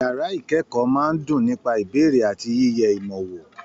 Yàrá ikẹkọọ máa n dùn nípa ìbéèrè àti yiyẹ ìmọ wò.